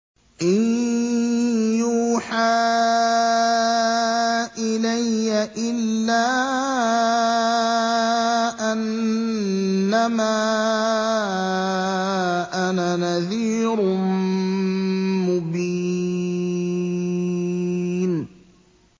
إِن يُوحَىٰ إِلَيَّ إِلَّا أَنَّمَا أَنَا نَذِيرٌ مُّبِينٌ